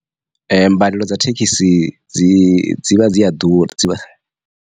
Mbadelo dza thekisi dzi dzi vha dziya ḓura dzivha.